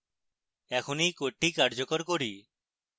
এখন এই code কার্যকর করি